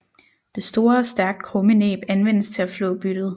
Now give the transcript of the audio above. Det store og stærkt krumme næb anvendes til at flå byttet